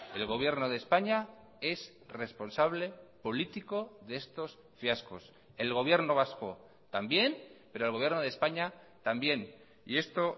el gobierno de españa es responsable político de estos fiascos el gobierno vasco también pero el gobierno de españa también y esto